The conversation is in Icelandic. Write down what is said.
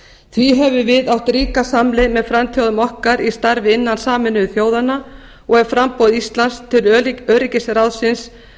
því höfum við átt ríka samleið með frændþjóðum okkar í starfi innan sameinuðu þjóðanna og er framboð íslands til öryggisráðsins